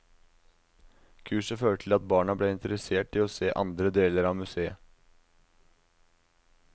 Kurset førte til at barna ble interessert i å se andre deler av museet.